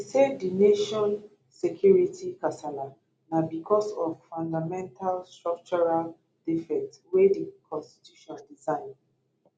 e say di nation security kasala na bicos of fundamental structural defect wey di constitution design